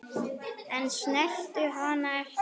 En snertu hana ekki.